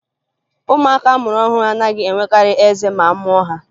Ụmụaka a mụrụ ọhụrụ anaghị enwekarị eze ma a mụọ ha